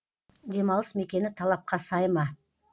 демалыс мекені талапқа сай ма